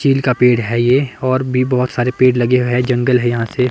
Chill का पेड़ है ये और भी बहोत सारे पेड़ लगे हुए हैं जंगल है यहां से।